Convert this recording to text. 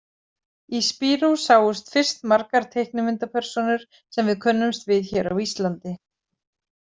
Í Spirou sáust fyrst margar teiknimyndapersónur sem við könnumst við hér á Íslandi.